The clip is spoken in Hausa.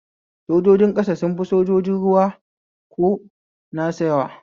Sojojin ƙasa sun fi sajojin ruwa ko nasa yawa